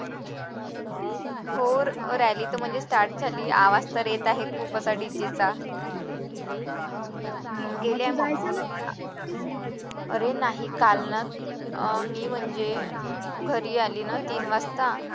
हो rally तर म्हणजे start झाली आवाज तर येत आहे खूपच आणि तिचा अरे नाही काल ना म्हणजे घरी आले ना तीन वाजता